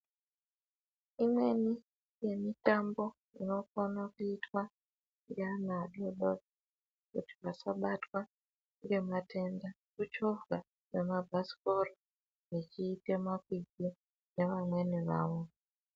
Imweni yemitambo inokona kuitwa ngaana adori dori kuti vasabatwa ngematenda, kuchovhwa kwemabhasikora vechiite makwikwi nevamweni vavo.